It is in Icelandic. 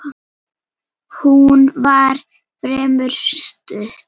Hún var fremur stutt.